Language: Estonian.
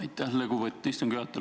Aitäh, lugupeetud istungi juhataja!